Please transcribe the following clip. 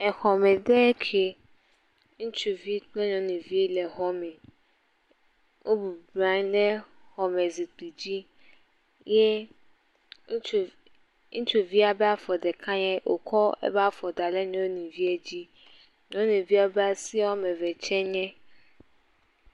Exɔme ɖe ke. Ŋutsuvi kple nyɔnuvi le exɔ me. Wo bubɔ nɔ anyi ɖe xɔme zikpui dzi eye ŋutsua ƒe afɔ ɖeka, wokɔ eƒe afɔ da ɖe nyɔnuvia dzi. Nyɔnuvia ƒe afɔ eve tse nye........